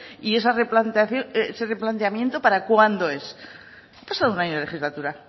y ese replanteamiento para cuándo es ha pasado un año de legislatura